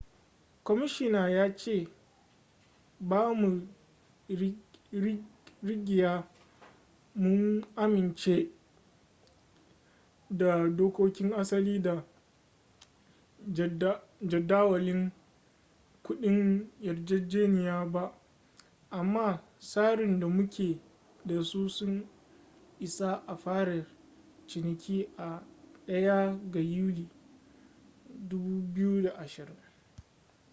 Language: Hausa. kwamishina ya ce ba mu rigya mun amince da dokokin asali da jadawalin kudin yarjejeniya ba amma tsarin da muke da su sun isa a fara ciniki a 1 ga yuli 2020